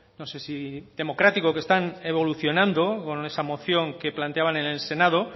no sé si democrático que están evolucionando con esa moción que planteaban en el senado